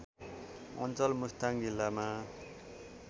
अञ्चल मुस्ताङ जिल्लामा